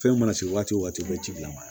Fɛn mana se waati o waati u bɛ ji lamara